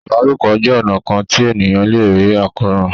ìbálòpọ̀ jé ọnà kán tí ènìyàn lẹ rí Àkóràn.